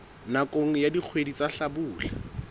nakong ya dikgwedi tsa hlabula